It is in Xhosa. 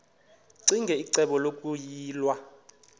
ccinge icebo lokuyilwa